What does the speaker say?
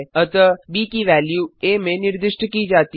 अतः ब की वेल्यू आ में निर्दिष्ट की जाती है